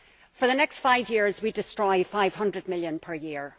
For the next five years, we destroy EUR 500 million per year